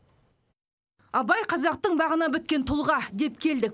абай қазақтың бағына біткен тұлға деп келдік